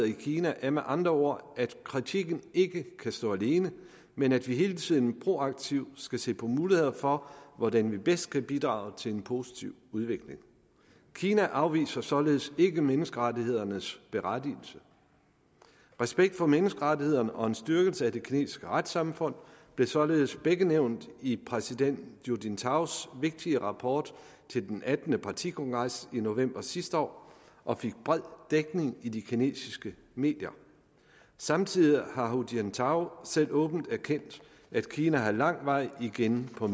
i kina er med andre ord at kritikken ikke kan stå alene men at vi hele tiden proaktivt skal se på muligheder for hvordan vi bedst kan bidrage til en positiv udvikling kina afviser således ikke menneskerettighedernes berettigelse respekt for menneskerettighederne og en styrkelse af det kinesiske retssamfund blev således begge nævnt i præsident hu jintaos vigtige rapport til den attende partikongres i november sidste år og fik bred dækning i de kinesiske medier samtidig har hu jintao selv åbent erkendt at kina har lang vej igen på